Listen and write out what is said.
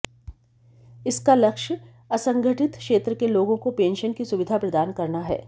इसका लक्ष्य असंगठित क्षेत्र के लोगों को पेंशन की सुविधा प्रदान करना है